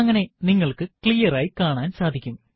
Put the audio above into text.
അങ്ങനെ നിങ്ങൾക്ക് ക്ലിയർ ആയി കാണാൻ സാധിക്കും